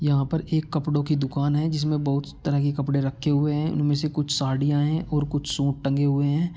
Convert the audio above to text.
यहाँ पर एक कपड़ों की दुकान है जिसमे बहुत तरह के कपड़े रखे हुए है इनमे से कुछ साड़िया है और कुछ सूट टंगे हुए है।